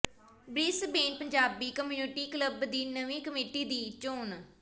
Brisbane Punjabi community club ਦੀ ਨਵੀਂ committee ਦੀ ਚੋਣ